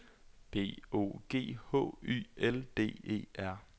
B O G H Y L D E R